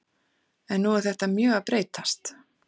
En nú er þetta mjög að breytast.